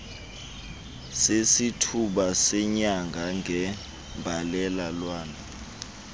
sesithuba senyanga ngembalelwano